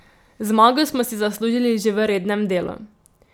Zmago smo si zaslužili že v rednem delu.